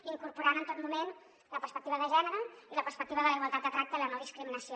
incorporant en tot moment la perspectiva de gènere i la perspectiva de la igualtat de tracte i la no discriminació